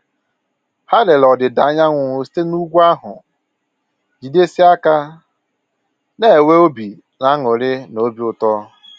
Ha lere ọdịda anyanwụ site na úgwú ahụ, jidesie aka na enwe obi añụrị na obi ụtọ